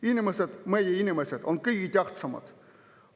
Inimesed, meie inimesed on kõige tähtsamad.